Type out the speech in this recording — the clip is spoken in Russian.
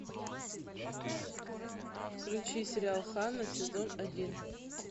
включи сериал ханна сезон один